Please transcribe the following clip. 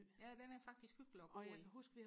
ja den er faktisk hyggelig og gå i